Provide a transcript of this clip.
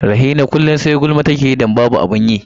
Rahina kullum sai gulma take yi don babu abin yi.